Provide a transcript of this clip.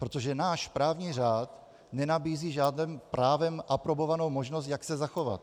Protože náš právní řád nenabízí žádnou právem aprobovanou možnost, jak se zachovat.